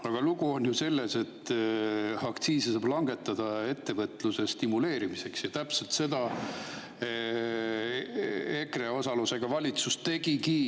Aga lugu on selles, et aktsiise saab langetada ettevõtluse stimuleerimiseks ja täpselt seda EKRE osalusega valitsus tegigi.